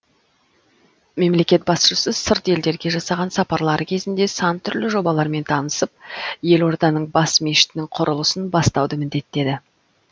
мемлекет басшысы сырт елдерге жасаған сапарлары кезінде сан түрлі жобалармен танысып елорданың бас мешітінің құрылысын бастауды міндеттеді